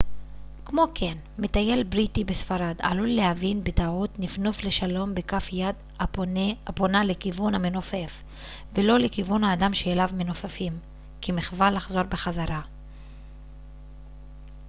כמו כן מטייל בריטי בספרד עלול להבין בטעות נפנוף לשלום בכף יד הפונה לכיוון המנופף ולא לכיוון האדם שאליו מנופפים כמחווה לחזור בחזרה